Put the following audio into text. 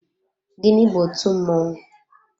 Gịnị bu otú mmọnwụ?